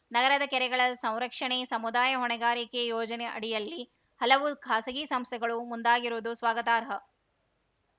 ನಗರದ ಕೆರೆಗಳ ಸಂರಕ್ಷಣೆಗೆ ಸಮುದಾಯ ಹೊಣೆಗಾರಿಕೆ ಯೋಜನೆ ಅಡಿಯಲ್ಲಿ ಹಲವು ಖಾಸಗಿ ಸಂಸ್ಥೆಗಳು ಮುಂದಾಗಿರುವುದು ಸ್ವಾಗತಾರ್ಹ